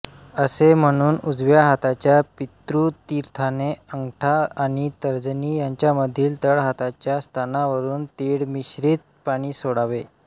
असे म्हणून उजव्या हाताच्या पितृतीर्थाने अंगठा आणि तर्जनी यांच्यामधील तळहाताच्या स्थानावरून तिळमिश्रित पाणी सोडावे